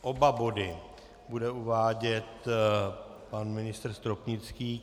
Oba body bude uvádět pan ministr Stropnický.